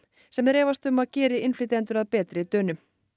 sem þeir efast margir um að geri innflytjendur að betri Dönum